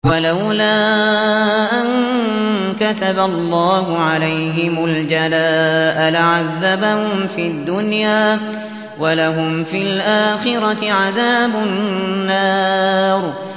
وَلَوْلَا أَن كَتَبَ اللَّهُ عَلَيْهِمُ الْجَلَاءَ لَعَذَّبَهُمْ فِي الدُّنْيَا ۖ وَلَهُمْ فِي الْآخِرَةِ عَذَابُ النَّارِ